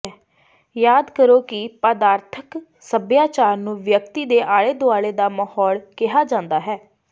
ਯਾਦ ਕਰੋ ਕਿ ਪਦਾਰਥਕ ਸੱਭਿਆਚਾਰ ਨੂੰ ਵਿਅਕਤੀ ਦੇ ਆਲੇ ਦੁਆਲੇ ਦਾ ਮਾਹੌਲ ਕਿਹਾ ਜਾਂਦਾ ਹੈ